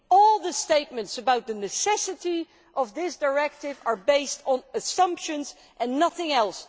All the statements about the necessity of this directive are based on assumptions and nothing else.